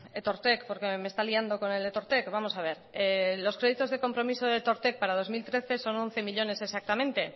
etortek porque me está liando con el etortek vamos a ver los créditos de compromiso de etortek para dos mil trece son once millónes exactamente